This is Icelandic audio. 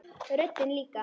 Röddin líka.